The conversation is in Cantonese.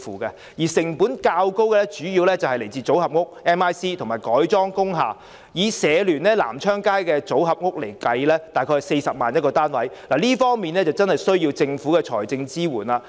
至於成本較高的主要是建造組合屋及改裝工廈，以社聯在深水埗南昌街興建的組合屋來計算 ，1 個單位約需40萬元，確實需要政府的財政支援。